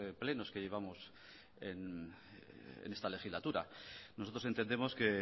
plenos que llevamos en esta legislatura nosotros entendemos que